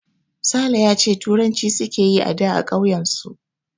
Sale ya ce turanci suke yi ada a ƙauyen su